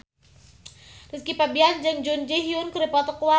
Rizky Febian jeung Jun Ji Hyun keur dipoto ku wartawan